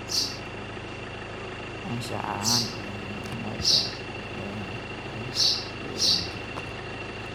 anshax ahaan iyo muhiimadda ay leedahay ilaalinta deegaanka.